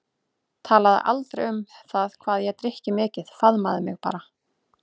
Talaði aldrei um það hvað ég drykki mikið, faðmaði mig bara.